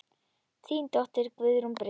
Þín dóttir, Guðrún Brynja.